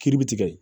Kiiri bi tigɛ